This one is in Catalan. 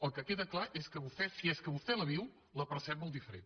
el que queda clar és que vostè si és que vostè la viu la percep molt diferent